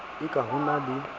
e ka ho na le